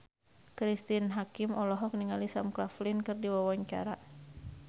Cristine Hakim olohok ningali Sam Claflin keur diwawancara